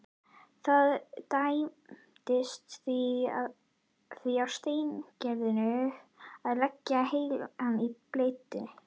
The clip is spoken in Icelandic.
Það dæmdist því á Steingerði að leggja heilann í bleyti.